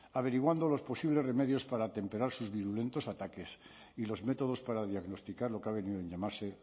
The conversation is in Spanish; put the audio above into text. averiguando los posibles remedios para atemperar sus virulentos ataques y los métodos para diagnosticar lo que ha venido en llamarse